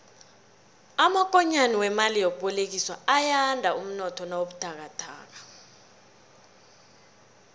amakonyana wemali yokubolekiswa ayanda umnotho nawubuthakathaka